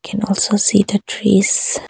Can also see the trees.